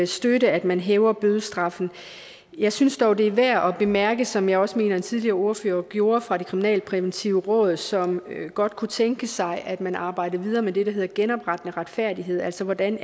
støtte at man hæver bødestraffen jeg synes dog at det er værd at bemærke som jeg også mener en tidligere ordfører gjorde svaret fra det kriminalpræventive råd som godt kunne tænke sig at man arbejdede videre med det der hedder genoprettende retfærdighed altså hvordan